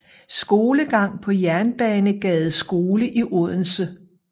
Skolegang på Jernbanegades Skole i Odense